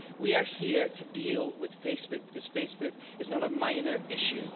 We are here to deal with Facebook because Facebook is not a minor issue.